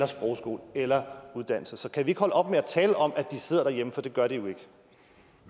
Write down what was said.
sprogskole eller uddannelse så kan vi ikke holde op med at tale om at de sidder derhjemme for det gør de